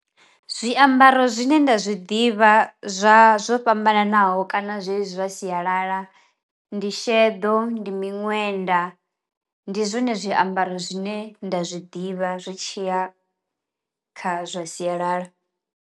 Zwiambaro zwine nda zwi ḓivha zwa zwo fhambananaho kana zwezwi zwa sialala ndi sheḓo, ndi miṅwenda, ndi zwone zwiambaro zwine nda zwi ḓivha zwi tshiya kha zwa sialala.